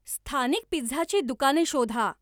स्थानिक पिझ्झाची दुकाने शोधा